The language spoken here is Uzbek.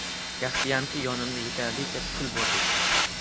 Yaxshiyamki, yonimda yetarlicha pul bor ekan.